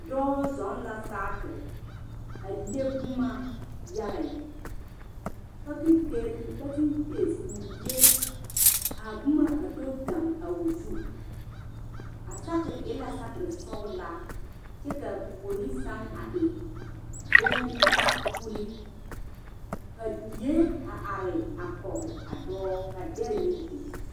Dɔɔ zɔŋ la saakere a le boma yaga lɛ pakenkeeri pakenkeesi k,o le k,a boma a do gaŋ a o zu a saakere e la saakere sɔglaa kyɛ k,a puori seŋ a e bone uli ka die a are a kɔge a dɔɔ ka dɛre meŋ biŋ.